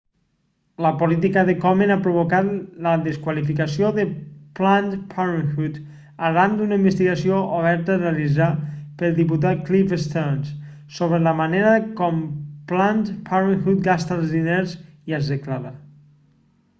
la política de komen ha provocat la desqualificació de planned parenthood arran d'una investigació oberta realitzada pel diputat cliff stearns sobre la manera com planned parenthood gasta els diners i els declara